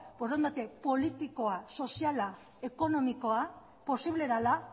borondate politikoa soziala ekonomikoa posible dela